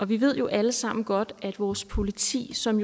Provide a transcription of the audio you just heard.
vi ved jo alle sammen godt at vores politi som